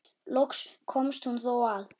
Loks komst hún þó að.